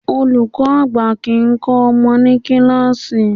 Olùkọ́ àgbà kìí kọ́ ọmọ ní kíláàsì.